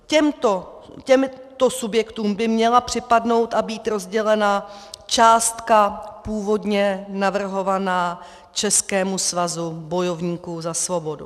Těmto subjektům by měla připadnout a být rozdělena částka původně navrhovaná Českému svazu bojovníků za svobodu.